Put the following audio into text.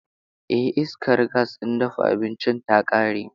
Eh, iskar gas ɗin dafa abinci ta ƙare.